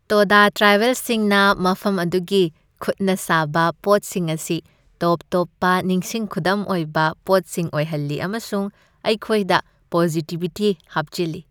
ꯇꯣꯗꯥ ꯇ꯭ꯔꯥꯏꯕꯦꯜꯁꯤꯡꯅ ꯃꯐꯝ ꯑꯗꯨꯒꯤ ꯈꯨꯠꯅ ꯁꯥꯕ ꯄꯣꯠꯁꯤꯡ ꯑꯁꯤ ꯇꯣꯞ ꯇꯣꯞꯄ ꯅꯤꯡꯁꯤꯡ ꯈꯨꯗꯝ ꯑꯣꯏꯕ ꯄꯣꯠꯁꯤꯡ ꯑꯣꯏꯍꯜꯂꯤ ꯑꯃꯁꯨꯡ ꯑꯩꯈꯣꯏꯗ ꯄꯣꯖꯤꯇꯤꯕꯤꯇꯤ ꯍꯥꯞꯆꯤꯜꯂꯤ꯫